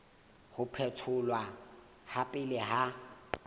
ho phetholwa ha pele ha